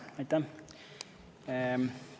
Aitäh!